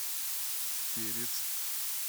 перец